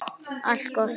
Allt gott.